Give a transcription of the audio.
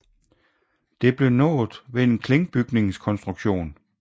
Det blev nået ved en klinkbygningskonstruktion